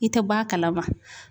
I tɛ bɔ a kalama.